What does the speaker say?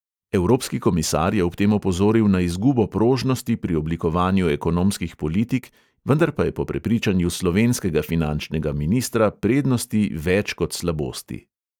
Evropski komisar je ob tem opozoril na izgubo prožnosti pri oblikovanju ekonomskih politik, vendar pa je po prepričanju slovenskega finančnega ministra prednosti več kot slabosti.